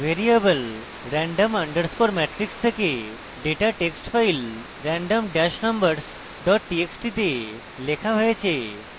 আপনি দেখতে পারেন ভ্যারিয়েবল random underscore matrix থেকে data text file random dash numbers dot txt তে লেখা হয়েছে